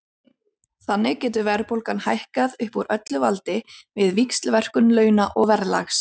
Þannig getur verðbólgan hækkað upp úr öllu valdi við víxlverkun launa og verðlags.